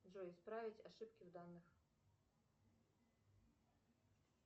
джой исправить ошибки в данных